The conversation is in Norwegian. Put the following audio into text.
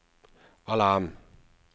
alarm